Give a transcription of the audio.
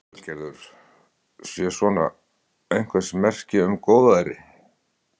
Lillý Valgerður: Sé svona einhvers merki um góðæri?